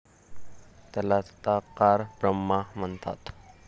त्याला तदाकार ब्रह्मा म्हणतात.